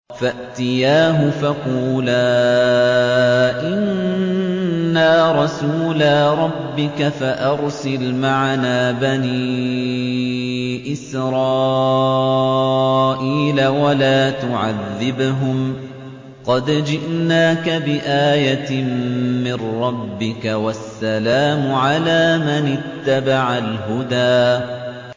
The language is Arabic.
فَأْتِيَاهُ فَقُولَا إِنَّا رَسُولَا رَبِّكَ فَأَرْسِلْ مَعَنَا بَنِي إِسْرَائِيلَ وَلَا تُعَذِّبْهُمْ ۖ قَدْ جِئْنَاكَ بِآيَةٍ مِّن رَّبِّكَ ۖ وَالسَّلَامُ عَلَىٰ مَنِ اتَّبَعَ الْهُدَىٰ